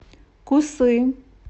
кусы